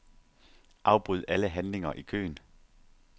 Afbryd alle handlinger i køen.